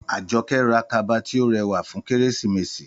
Àjọkẹ́ ra kaba tí ó rẹwà fún Kérésìmesì